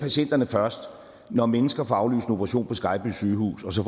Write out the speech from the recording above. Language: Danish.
først når mennesker får aflyst en operation på skejby sygehus og så